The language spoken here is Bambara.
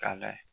K'a layɛ